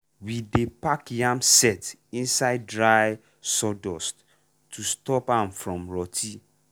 we dey pack yam sett inside dry sawdust to stop am from rotty